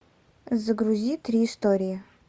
загрузи три истории